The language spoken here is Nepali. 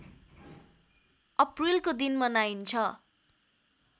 अप्रिलको दिन मनाइन्छ